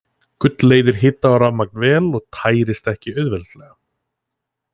Gull leiðir hita og rafmagn vel og tærist ekki auðveldlega.